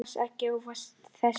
Dans ekki ósvipaðan þessum.